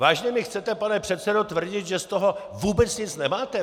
Vážně mi chcete, pane předsedo, tvrdit, že z toho vůbec nic nemáte?